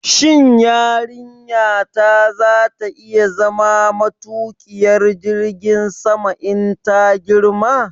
Shin yarinyata za ta iya zama matuƙiyar jirgin sama in ta girma?